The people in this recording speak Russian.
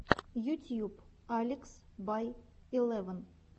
ютьюб алекс бай илевн